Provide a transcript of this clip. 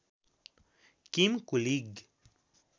किम कुलिग